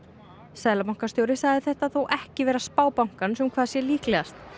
seðlabankastjóri sagði þetta þó ekki vera spá bankans um hvað sé líklegast